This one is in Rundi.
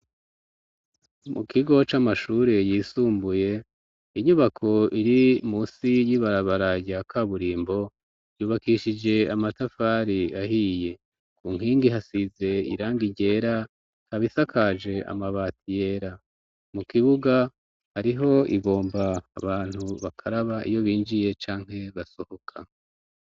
Mu kigo c'amashure yisumbuye inyubako iri musi yibarabaraya aka burimbo yubakishije amatafari ahiye ku nkingi hasize iranga ryera kabisakaje amabati yera mu kibuga ariho ibomba abantu bakaraba iyo binjiye canke basohoka.